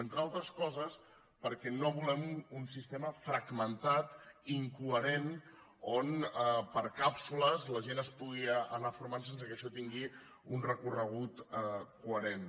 entre altres coses perquè no volem un sistema fragmentat incoherent on per càpsules la gent es pugui anar formant sense que això tingui un recorregut coherent